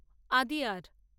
Adyar